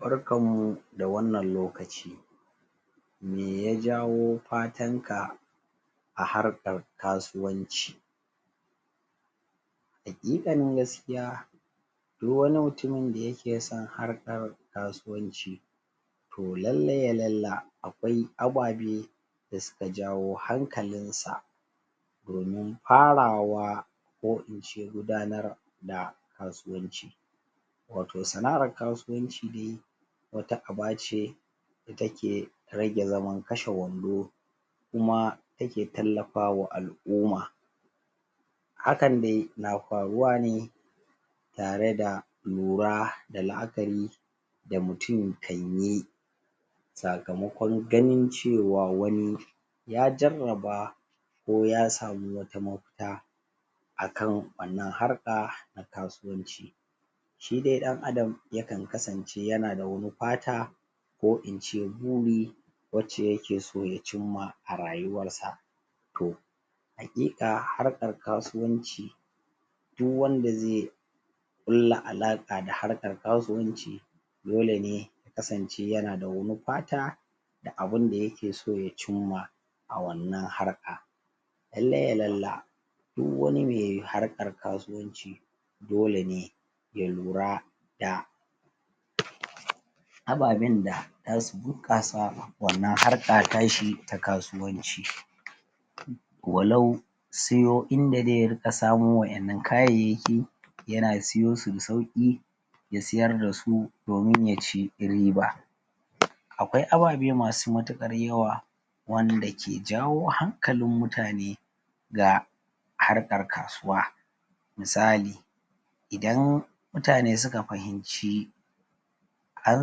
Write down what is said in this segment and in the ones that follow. Barkanmu da wannan lokaci me ya jawo fatanka a harkar kasuwanci haƙiƙanin gaskiya du wani mutumin da yake son harkar kasuwanci to lalle ya lalla akwai ababe da suka jawo hankalinsa domin farawa ko ke gudanar da kasuwanci wato sana'ar kasuwanci de wata aba ce ta ke rage zaman kashe-wando kuma take tallafawa al'uma hakan de na faruwa ne tare da lura da la'akari da mutum kan yi sakamakon ganin cewa wani ya jarraba ko ya samu wata mafita a kan wannan harka kasuwanci shi de ɗan Adam ya kan kasance yana da wani fata ko in ce buri wacce yake so ya cimma a rayuwarsa to haƙiƙa harkar kasuwanci du wanda ze ƙulla alaƙa da harkar kasuwanci dole ne ya kasance yana da wani fata da abin da yake so ya cimma a wannan harka lalle ya lalla du wani me harkar kasuwanci dole ne ya lura da ababen da za su bunƙasa wannan harka ta shi ta kasuwanci walau siyo inda ze rika samo wayannan kayayyaki yana siyo su da sauƙi ya siyar da su domin ya ci riba akwai ababe masu matuƙar yawa wanda ke jawo hankalin mutane da harkar kasuwa misali idan mutane suka fahimci an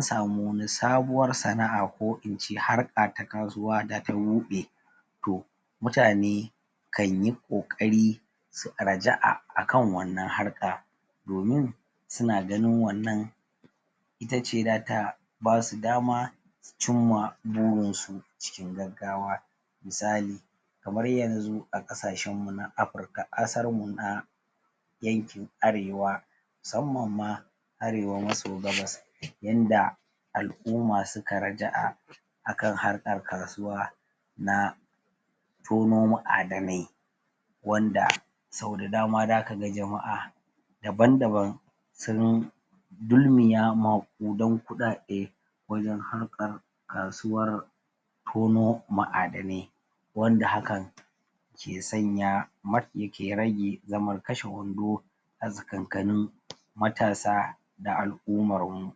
samu wani sabuwar sana'a ko ince harka ta kasuwa da ta buɗe to mutane kan yi ƙoƙari su raja'a a kan wannan harka domin su na ganin wannan ita ce za ta ba su dama su cimma burinsu cikin gaggawa misali kamar yanzu a ƙasashenmu na Afirka? yankin arewa musamman ma arewa maso gabas yanda al'uma suka raja'a akan harkar kasuwa na tono ma'adanai wanda sau da dama za ka ga jama'a daban-daban sun dulmiya maƙudan kuɗaɗe wajen haka kasuwar tono ma'adanai wanda hakan ke sanya mafi ke rage zaman kashe-wando a tsakankanin matasa da al'umarmu